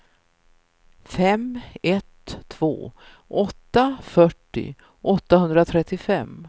fem ett två åtta fyrtio åttahundratrettiofem